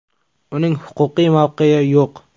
Uning huquqiy mavqei yo‘q.